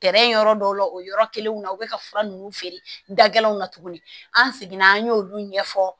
yɔrɔ dɔw la o yɔrɔ kelenw na u bɛ ka fura ninnu feere galinw na tuguni an seginna an y'olu ɲɛfɔ